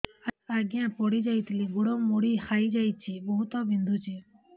ଆଜ୍ଞା ପଡିଯାଇଥିଲି ଗୋଡ଼ ମୋଡ଼ି ହାଇଯାଇଛି ବହୁତ ବିନ୍ଧୁଛି